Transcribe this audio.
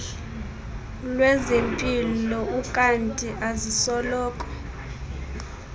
lwezempilo ukanti azisoloko